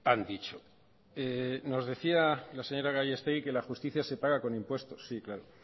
han dicho nos decía la señora gallastegui que la justicia se paga con impuestos sí claro